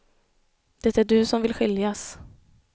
Det är du som vill skiljas.